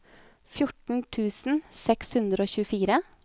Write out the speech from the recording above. fjorten tusen seks hundre og tjuefire